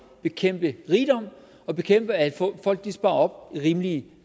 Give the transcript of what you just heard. bekæmpe rigdom og bekæmpe at folk sparer op i rimelige